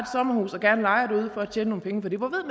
sommerhus og gerne lejer det ud for at tjene nogle penge